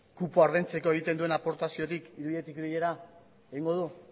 kupoa ordaintzeko egiten duen aportaziotik ideietik ideiera egingo du